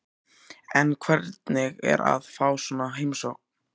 En hvernig er að fá svona heimsókn?